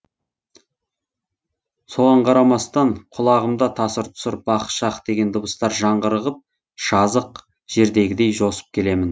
соған қарамастан құлағымда тасыр тұсыр бах шах деген дыбыстар жаңғырығып жазық жердегідей жосып келемін